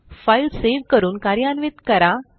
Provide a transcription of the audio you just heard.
file save करून कार्यान्वित करा